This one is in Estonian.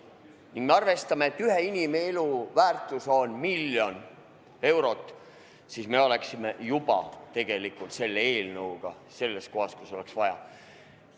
Kui me arvestame, et ühe inimelu väärtus on miljon eurot, siis me oleme juba tegelikult selle eelnõuga kohas, kus on vaja.